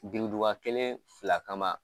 Gereduba kelen fila kama